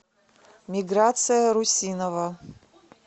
миграция русинова